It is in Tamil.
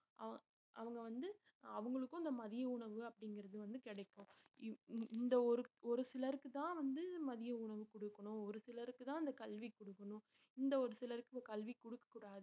ஆஹ் அவங்க வந்து அவங்களுக்கும் இந்த மதிய உணவு அப்படிங்கிறது வந்து கிடைக்கும் இவ்~ இந்~ இந்த ஒரு ஒரு சிலருக்குதான் வந்து மதிய உணவு கொடுக்கணும் ஒரு சிலருக்குதான் அந்த கல்வி கொடுக்கணும் இந்த ஒரு சிலருக்கு கல்வி கொடுக்கக்கூடாது